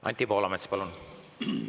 Anti Poolamets, palun!